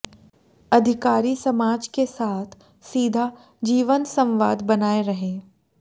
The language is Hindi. अधिकारी समाज के साथ सीधा जीवंत संवाद बनाए रहें